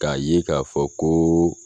K'a ye k'a fɔ koo